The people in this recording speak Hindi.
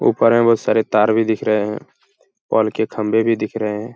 ऊपर में बोहोत सारे तार भी दिख रहें हैं । पोल के खम्बे भी दिख रहे हैं ।